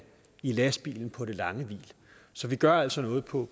i lastbilen på det lange hvil så vi gør altså noget på